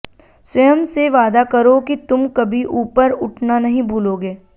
स्वयं से वादा करो कि तुम कभी ऊपर उठना नहीं भूलोगे